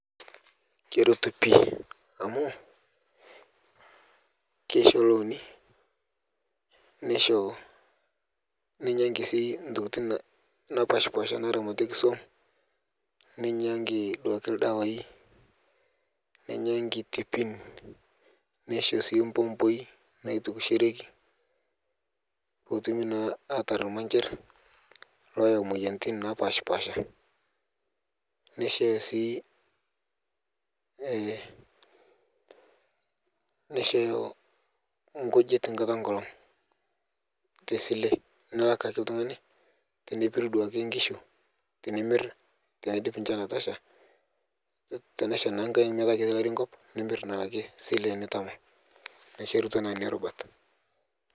Keretuu pii amu keisho looni neisho neinyankii sii ntokitin napashpaasha naramatieki suom neinyaanki duake ldawai neinyaanki tipin neishoo sii mpompoi naitukushereki pootumi naa atar lmansher loyau moyanitin napashpaasha neishooyo sii nkujit nkataa enkolong tesilee nilak akee ltungani tenepiruu duake nkishuu tinimir teneidip nchan atashaa tenashaa naa nkai metaa ketii larii nkop nimir naa alakie silee nitamaa naisherutua naa nenia rubat.